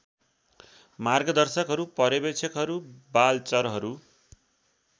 मार्गदर्शकहरू पर्यवेक्षकहरू बालचरहरू